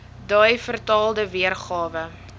dui vertaalde weergawe